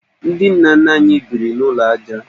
Ndị nna nna anyị biri n'ụlọ ajá